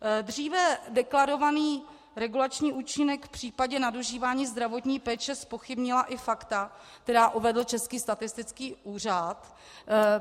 Dříve deklarovaný regulační účinek v případě nadužívání zdravotní péče zpochybnila i fakta, která uvedl Český statistický úřad.